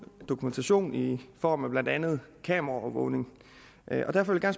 dokumentation i form af blandt andet kameraovervågning og derfor vil jeg